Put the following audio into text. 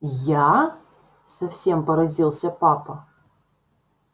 я совсем поразился папа